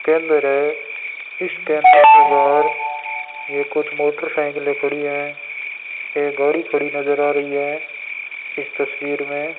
केन्द्र है इस केंद्र के बाहर ये कुछ मोटरसाइकिलें खड़ी हैं एक गाड़ी खड़ी नजर आ रही है इस तस्वीर में --